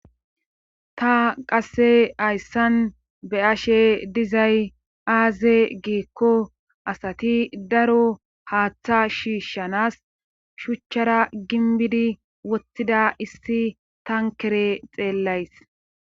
ta qasse hayssan be ashe dizay aaze giikko asati daro haaththa shiishshanas shuchchara ginbidi wottida issi tankere xeellays